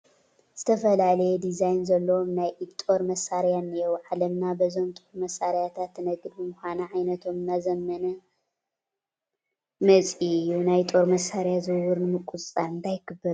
ዝትፈላለየ ዲዛይን ዘለዎም ናይ ኢድ ጦር መሳርያታት እኔዉ፡፡ ዓለምና በዞም ጦር መሳርያታት ትነግድ ብምዃና ዓይነቶም እናዘመነ መፂኡ እዩ፡፡ ናይ ጦር መሳርያ ዝውውር ንምቁፅፃር እንታይ ክግበር ኣለዎ